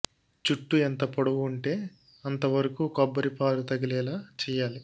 జుట్టు ఎంత పొడవు ఉంటే అంతవరకూ కొబ్బరి పాలు తగిలేలా చెయ్యాలి